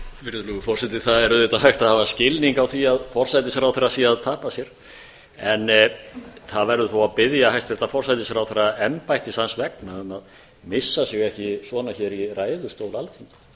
virðulegur forseti það er auðvitað hægt að hafa skilning á því að forsætisráðherra sé að tapa sér en það verður þó að biðja hæstvirtan forsætisráðherra embættis hans vegna að missa sig ekki svona í ræðustól alþingis